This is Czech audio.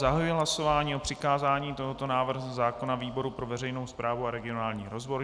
Zahajuji hlasování o přikázání tohoto návrhu zákona výboru pro veřejnou správu a regionální rozvoj.